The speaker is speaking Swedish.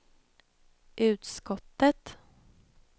utskottet